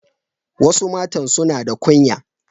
Wasu matan suna da kunya.